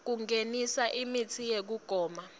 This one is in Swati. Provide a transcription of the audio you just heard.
kungenisa imitsi yekugoma